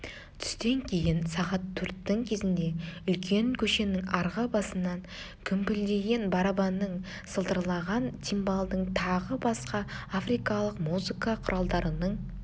түстен кейін сағат төрттің кезінде үлкен көшенің арғы басынан гүмпілдеген барабанның сылдырлаған цимбалдың тағы басқа африкалық музыка құралдарының